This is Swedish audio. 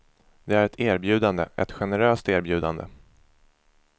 Det är ett erbjudande, ett generöst erbjudande.